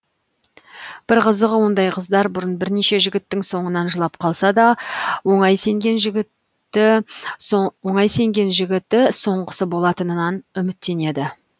бір қызығы ондай қыздар бұрын бірнеше жігіттің соңынан жылап қалса да оңай сенген жігіті соңғысы болатынынан үміттенеді